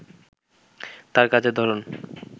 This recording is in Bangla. তার কাজের ধরন